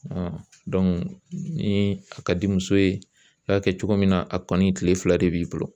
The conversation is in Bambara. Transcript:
ni a ka di muso ye i y'a kɛ cogo min na a kɔni kile fila de b'i bolo